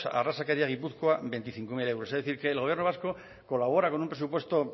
arrazakeria gipuzkoa veinticinco mil euros es decir el gobierno vasco colabora con un presupuesto